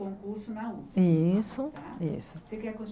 Concurso na usp Isso isso Você que